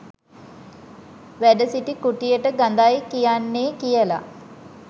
වැඩ සිටි කුටියට ගඳයි කියන්නෙ කියල